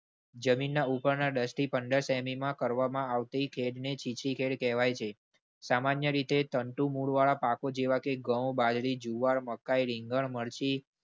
જમીન ના ઉપર ના દસ થી પંદર તેનીમાં કરવામાં આવતી ખેળ ને ચીચી ખેળ કહેવાઈ છે. સામાન્ય રીતે તંતુ મૂળના પાકો જેવા કે ઘઉં, બાજરી, જુવાર, મકાઇ, રીંગણ, મરચી.